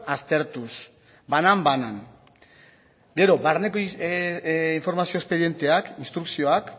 aztertuz banan banan gero barneko informazio espedienteak instrukzioak